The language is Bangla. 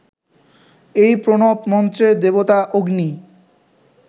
এই প্রণব মন্ত্রের দেবতা অগ্নি